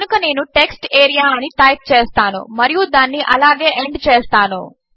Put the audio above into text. కనుక నేను టెక్స్టేరియా అని టైప్ చేస్తాను మరియు దానిని అలాగే ఎండ్ చేస్తాను